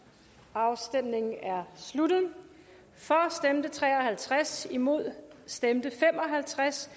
afstemningen er sluttet for stemte tre og halvtreds imod stemte fem og halvtreds